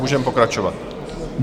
Můžeme pokračovat.